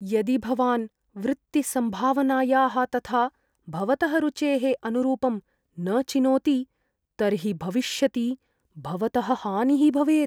यदि भवान् वृत्तिसम्भावनायाः तथा भवतः रुचेः अनुरूपं न चिनोति तर्हि भविष्यति भवतः हानिः भवेत्।